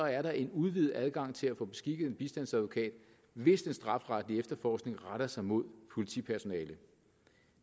er der en udvidet adgang til at få beskikket en bistandsadvokat hvis den strafferetlige efterforskning retter sig mod politipersonale